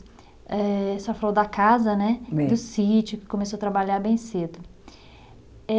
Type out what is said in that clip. Eh, a senhora falou da casa, né. É. Do sítio, que começou a trabalhar bem cedo. Eh